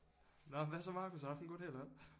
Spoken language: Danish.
Nåh hvad så Marcus har du haft en god dag eller hvad